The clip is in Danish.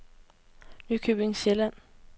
Nykøbing Sjælland